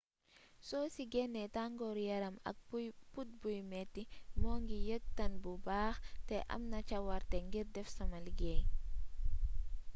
soo ci gennee tangooru yaram ak put buy metti ma ngi yëg tàn bu baax te am naa cawarte ngir def sama liggéey